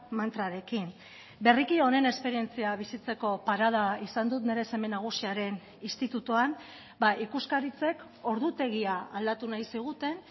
mantrarekin berriki honen esperientzia bizitzeko parada izan dut nire seme nagusiaren institutuan ikuskaritzek ordutegia aldatu nahi ziguten